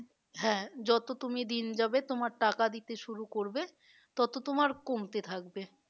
হ্যাঁ যত তুমি দিন যাবে তোমার টাকা দিতে শুরু করবে তত তোমার কমতে থাকবে।